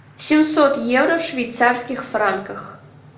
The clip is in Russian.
семьсот евро в швейцарских франках